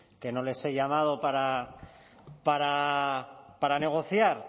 que no les he llamado para negociar